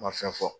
Ma fɛn fɔ